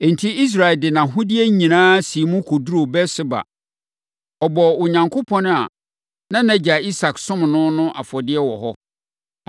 Enti, Israel de nʼahodeɛ nyinaa siim kɔduruu Beer-Seba. Ɔbɔɔ Onyankopɔn a na nʼagya Isak somm no no afɔdeɛ wɔ hɔ.